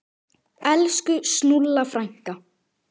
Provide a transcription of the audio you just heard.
Elsku Snúlla frænka.